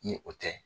Ni o tɛ